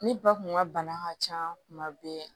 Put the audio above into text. Ne ba tun ka bana ka ca kuma bɛɛ